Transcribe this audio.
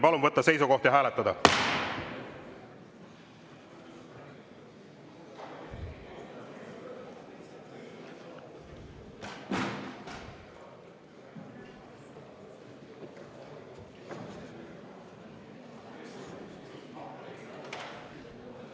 Palun võtta seisukoht ja hääletada!